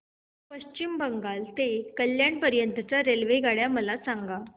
पश्चिम बंगाल ते कल्याण पर्यंत च्या रेल्वेगाड्या मला सांगा